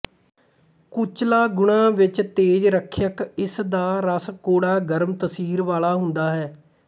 ਕੁਚਲਾ ਗੁਣਾਂ ਵਿੱਚ ਤੇਜ ਰੱਖਿਅਕ ਇਸ ਦਾ ਰਸ ਕੌੜਾ ਗਰਮ ਤਸੀਰ ਵਾਲਾ ਹੁੰਦਾ ਹੈ